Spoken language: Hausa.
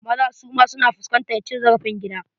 Maza suma su na fuskantar cin zarafin gida.